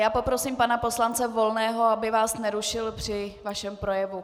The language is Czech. Já poprosím pana poslance Volného, aby vás nerušil při vašem projevu.